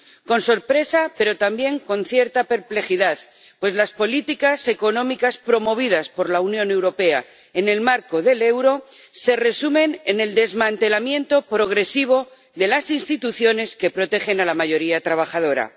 Con sorpresa, pero también con cierta perplejidad, pues las políticas económicas promovidas por la Unión Europea en el marco del euro se resumen en el desmantelamiento progresivo de las instituciones que protegen a la mayoría trabajadora.